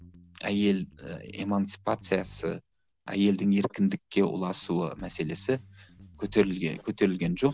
әйел і эмансипациясы әйелдің еркіндікке ұласуы мәселесі көтерілген жоқ